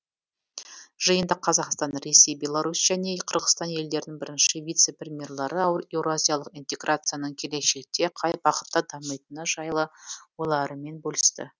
жиында қазақстан ресей беларусь және қырғызстан елдерінің бірінші вице премьерлары еуразиялық интеграцияның келешекте қай бағытта дамитыны жайлы ойларымен бөлісті